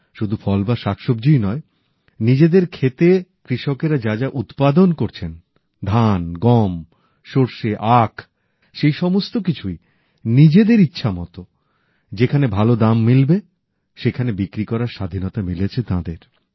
শুধু ফল বা শাকসব্জিই নয় নিজেদের খেতে কৃষকেরা যা যা উৎপাদন করছেন ধান গম সরষে আখ সেই সমস্ত কিছুই নিজেদের ইচ্ছামতো যেখানে ভালো দাম মিলবে সেখানে বিক্রি করার স্বাধীনতা মিলেছে তাঁদের